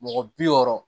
Mɔgɔ bi wɔɔrɔ